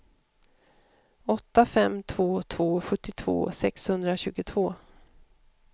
åtta fem två två sjuttiotvå sexhundratjugotvå